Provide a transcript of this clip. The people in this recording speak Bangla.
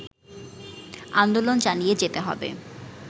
আন্দোলন চালিয়ে যেতে হবে